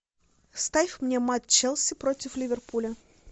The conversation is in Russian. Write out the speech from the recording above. ставь мне матч челси против ливерпуля